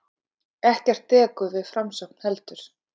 Ekkert dekur við framsókn heldur.